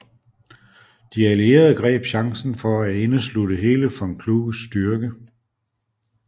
De allierede greb chancen for at indeslutte hele von Kluges styrke